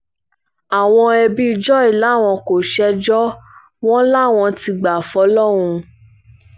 àwọn ẹbí joy làwọn kò ṣẹjọ́ wọn làwọn ti gbà fọlọ́run